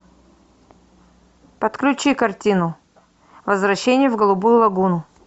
подключи картину возвращение в голубую лагуну